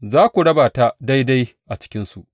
Za ku raba ta daidai a cikinsu.